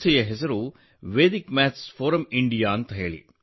ನಮ್ಮ ಸಂಸ್ಥೆಯ ಹೆಸರು ವೇದಿಕ್ ಮ್ಯಾಥ್ಸ್ ಫೋರಮ್ ಇಂಡಿಯಾ